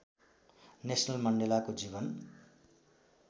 Nelson मण्डेलाको जीवन